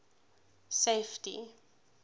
safety